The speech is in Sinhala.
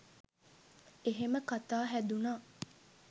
එහෙම කතා හැදුණා